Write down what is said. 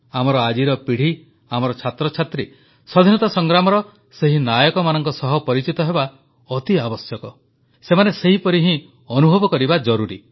ଆମର ଆଜିର ପିଢ଼ି ଆମର ଛାତ୍ରଛାତ୍ରୀ ସ୍ୱାଧୀନତା ସଂଗ୍ରାମର ସେହି ନାୟକମାନଙ୍କ ସହ ପରିଚିତ ହେବା ଅତି ଆବଶ୍ୟକ ସେମାନେ ସେହିପରି ହିଁ ଅନୁଭବ କରିବା ଜରୁରୀ